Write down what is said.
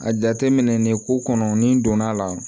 A jateminɛ ni ko kɔnɔ ni donna a la